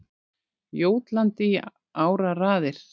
Jótlandi í áraraðir.